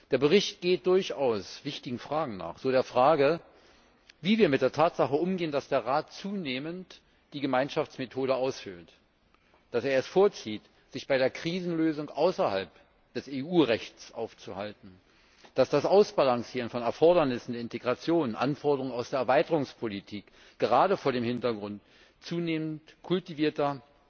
Der Bericht geht durchaus wichtigen Fragen nach, so der Frage, wie wir mit der Tatsache umgehen, dass der Rat zunehmend die Gemeinschaftsmethode aushöhlt, dass er es vorzieht, sich bei der Krisenlösung außerhalb des EU Rechts aufzuhalten, dass das Ausbalancieren von Erfordernissen der Integration und der Anforderungen aus der Erweiterungspolitik gerade vor dem Hintergrund zunehmend kultivierter